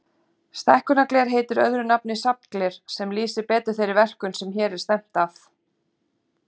Stækkunargler heitir öðru nafni safngler, sem lýsir betur þeirri verkun sem hér er stefnt að.